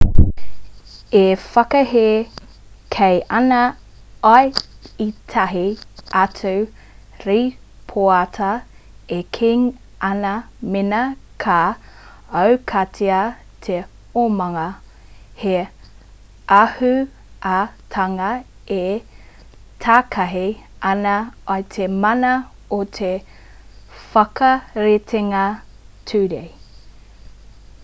e whakahē kē ana i ētahi atu rīpoata e kī ana mēnā ka aukatia te omanga he āhuatanga e takahi ana i te mana o te whakaritenga ture